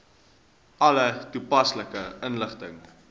alle toepaslike inligting